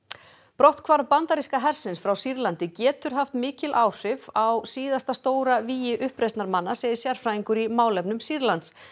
brotthvarf bandaríska hersins frá Sýrlandi getur haft mikil áhrif á síðasta stóra vígi uppreisnarmanna segir sérfræðingur í málefnum Sýrlands